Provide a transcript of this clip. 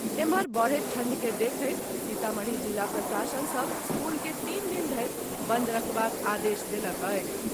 एम्हर, बढ़त ठंढ़ के देखैत सीतामढ़ी जिला प्रशासन सभ स्कूल के तीन दिन धरि बंद राखबाक आदेश देलक अछि।